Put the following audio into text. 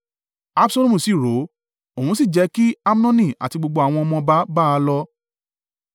Absalomu sì rọ̀ ọ́, òun sì jẹ́ kí Amnoni àti gbogbo àwọn ọmọ ọba bá a lọ.